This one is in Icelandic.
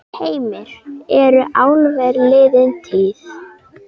Heimir: Eru álver liðin tíð?